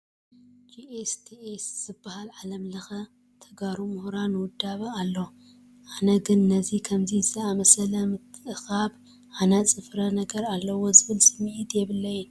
GSTS ዝበሃል ዓለም ለኸ ናይ ተጋሩ ምሁራን ውዳበ ኣሎ፡፡ ኣነ ግን ነዚ ከምዚ ዝኣምሰለ ምትእኽኻብ ሃናፂ ፍረ ነገር ኣለዎ ዝብል ስምዒት የብለይን፡፡